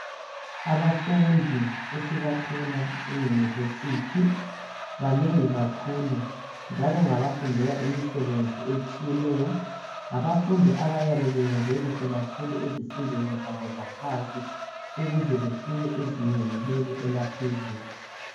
Abafundi esibathola eyunivesithi banengi kakhulu njalo ngabafundela imisebenzi etshiyeneyo ngabafundi abayabe benze kuhle kakhulu ezifundweni zabo zaphansi ukuze bafike ezingeni leli elaphezulu.